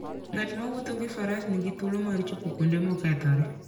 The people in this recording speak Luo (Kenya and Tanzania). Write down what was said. Ng'at mowuotho gi faras nigi thuolo mar chopo kuonde mokethore.